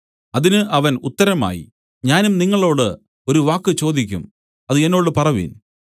അതിന് അവൻ ഉത്തരമായി ഞാനും നിങ്ങളോടു ഒരു വാക്ക് ചോദിക്കും അത് എന്നോട് പറവിൻ